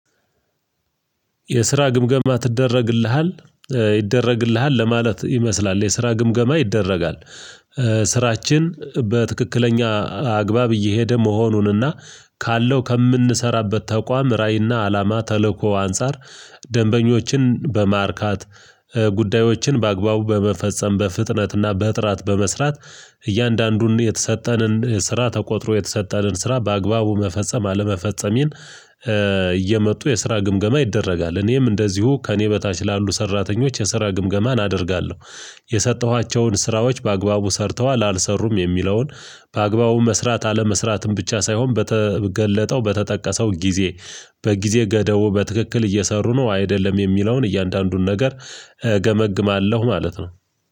የስራ ግምገማ ትደረግልሃል? ይደረግልሃል ለማለት ይመስላል የስራ ግምገማ ይደረጋል። ስራችን በትክክለኛ አግባብ እየሄደ መሆኑንና ካለው ከምንሰራበት ተቋም ራዕይና አላማ ተለኮ አንፃር ደንበኞችን በማርካት፣ ጉዳዮችን በአግባቡ በመፈጸም፣ በፍጥነትና በጥራት በመስራት እያንዳንዱን የተሰጠንን ስራ ተቆጥሮ የተሰጠንን ስራ በአግባቡ መፈጸም አለመፈጸሜን እየመጡ የስራ ግምገማ ይደረጋል። እኔም እንደዚሁ ከእኔ በታች ላሉ ሰራተኞች የስራ ግምገማ አደርጋለሁ። የሰጠኋቸውን ስራዎች በአግባቡ ሰርተዋል አልሰሩም የሚለውን፣ በአግባቡ መስራት አለመስራትን ብቻ ሳይሆን በተገለጠው በተጠቀሰው ጊዜ በጊዜ ገደቡ በትክክል እየሰሩ ነው አይደለም የሚለውን እያንዳንዱን ነገር እገመግማለሁ ማለት ነው።